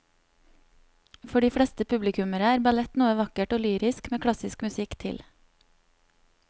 For de fleste publikummere er ballett noe vakkert og lyrisk med klassisk musikk til.